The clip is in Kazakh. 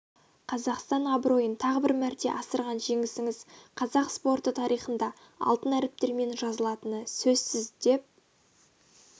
қазақстан абыройын тағы бір мәрте асырған жеңісіңіз қазақ спорты тарихында алтын әріптермен жазылатыныны сөзсіз деп